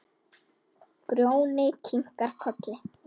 Grjóni kinkar kolli.